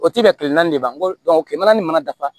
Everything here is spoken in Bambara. O ti bɛn kile naani de ma n ko kilema ni mana dafa